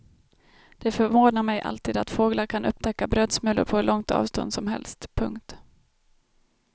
Det förvånar mig alltid att fåglar kan upptäcka brödsmulor på hur långt avstånd som helst. punkt